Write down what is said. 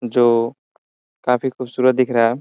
जो काफी खूबसूरत दिख रहा है।